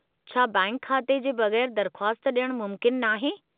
छा बैंक खाते जे बगै़रु दरख़्वास्त डि॒यणु मुमकिनु नाहे?